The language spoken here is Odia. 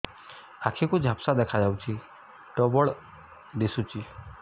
ଆଖି କୁ ଝାପ୍ସା ଦେଖାଯାଉଛି ଡବଳ ଦିଶୁଚି